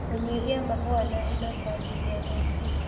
Kũnyihia mahũa na indo ta DNOC